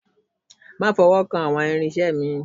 Má fọwọ́kan àwọn irinṣẹ́ mi